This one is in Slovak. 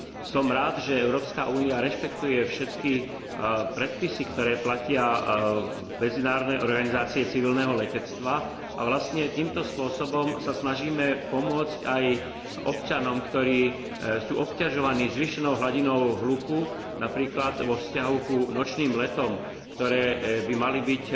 Som rád, že Európska únia rešpektuje všetky predpisy, ktoré platia v Medzinárodnej organizácii civilného letectva a vlastne týmto spôsobom sa snažíme pomôcť aj občanom, ktorí sú obťažovaní zvýšenou hladinou hluku, napríklad vo vzťahu k nočným letom, ktoré by mali byť